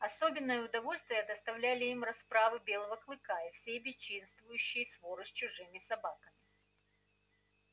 особенное удовольствие доставляли им расправы белого клыка и всей бесчинствующей своры с чужими собаками